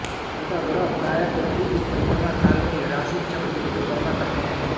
अंतर्ग्रह प्राय पृथ्वी की परिक्रमा काल में ही राशिचक्र की परिक्रमा करते हैं